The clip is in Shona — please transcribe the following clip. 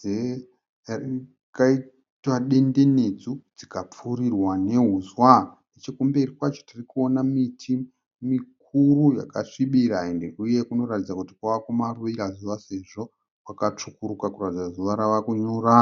dzakaitwa dendenedzwo dzikapfurirwa nehuswa. Nechekumberi kwacho tiri kuona miti mikuru yakasvibira uye kunoratidza kuti kwava kumavira zuva sezvo kwakatsvukuruka kuratidza kuti zuva rava kunyura.